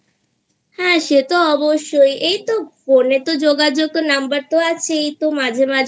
হ্যাঁ সে তো অবশ্যই. এইতো Phone এ তো যোগাযোগের Numberতো আছেই তো মাঝে মাঝে